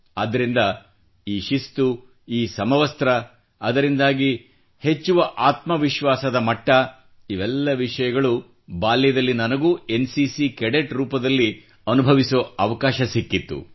ಆದ್ದರಿಂದ ಈ ಶಿಸ್ತು ಈ ಸಮವಸ್ತ್ರ ಅದರಿಂದಾಗಿ ವೃದ್ಧಿಸುವ ಆತ್ಮ ವಿಶ್ವಾಸದ ಮಟ್ಟ ಇವೆಲ್ಲ ವಿಷಯಗಳೂ ಬಾಲ್ಯದಲ್ಲಿ ನನಗೂ ಎನ್ ಸಿ ಸಿ ಕೆಡೆಟ್ ರೂಪದಲ್ಲಿ ಅನುಭವಿಸುವ ಅವಕಾಶ ದೊರೆತಿತ್ತು